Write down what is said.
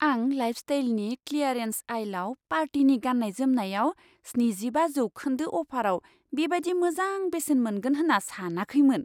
आं लाइफस्टाइलनि क्लियारेन्स आइलाव पार्टिनि गाननाय जोमनायाव स्निजिबा जौखोन्दो अफाराव बेबादि मोजां बेसेन मोनगोन होन्ना सानाखैमोन!